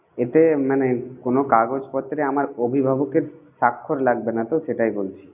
এতে মানে কোনো কাগজপত্রে আমার অভিভাবকের সাক্ষর লাগবে না তো? সেটাই বলছি.